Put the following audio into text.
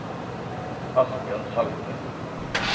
Asbjørn Salte